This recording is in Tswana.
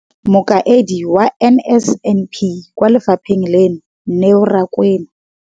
Mokaedi wa NSNP kwa lefapheng leno, Neo Rakwena,